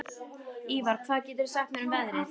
Ívar, hvað geturðu sagt mér um veðrið?